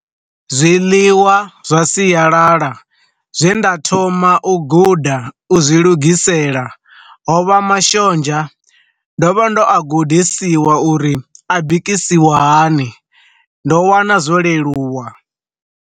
Zwiḽiwa zwa siyalala zwe nda thoma u guda u zwi lugisela ho vha mashonzha, ndo vha ndo a gudisiwa uri a bikisiwa hani, ndo wana zwo leluwa.